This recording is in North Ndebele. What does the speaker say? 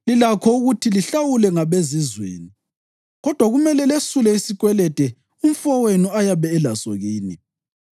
Lilakho ukuthi lihlawulwe ngabezizweni, kodwa kumele lesule isikwelede umfowenu ayabe elaso kini.